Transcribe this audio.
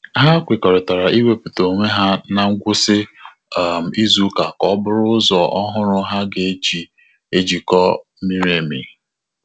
Ha kwerorita iweputa onwe ha na ngwụsị um izu ụka ka ọ bụrụ ụzọ ọhụrụ ha ji ejiko miri emi